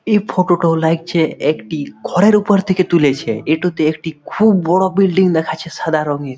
এই ফটো তো লাগছে একটি ঘরের উপর থেকে তুলেছে এ টু তে একটি খুব বড় বিল্ডিং দেখা যাচ্ছে সাদা রংয়ের।